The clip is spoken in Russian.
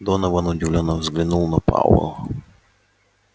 донован удивлённо взглянул на пауэлла